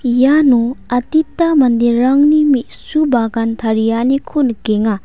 iano adita manderangni me·su bagan tarianiko nikenga.